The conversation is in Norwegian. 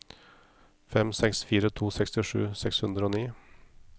fem seks fire to sekstisju seks hundre og ni